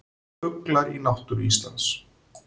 Fuglar í náttúru Íslands.